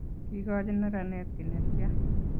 kikochi neranet kiy netyaa?